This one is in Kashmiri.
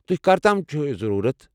تُہۍ کر تام چھُ یہِ ضروٗرَت؟